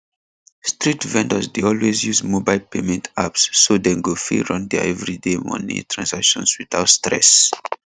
street vendors dey always use mobile payment apps so dem go fit run their everyday money transactions without stress